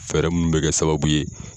Fɛɛrɛ munnu bɛ kɛ sababu ye